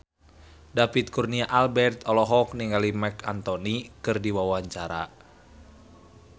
David Kurnia Albert olohok ningali Marc Anthony keur diwawancara